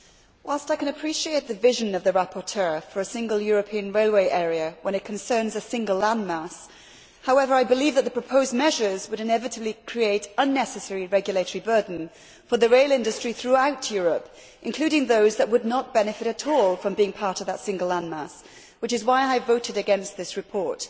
Mr President, whilst I can appreciate the vision of the rapporteur for a single European railway area when it concerns a single landmass, I believe that the proposed measures would inevitably create unnecessary regulatory burden for the rail industry throughout Europe, including those that would not benefit at all from being part of that single landmass. This is why I voted against this report.